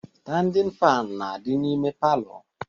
Standin faanụ na-adị n'ime palọ